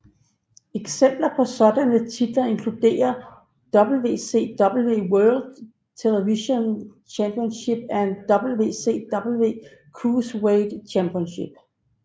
Eksempler på sådanne titler inkluderer WCW World Television Championship eller WCW Cruiserweight Championship